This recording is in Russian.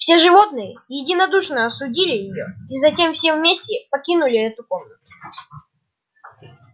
все животные единодушно осудили её и затем все вместе покинули эту комнату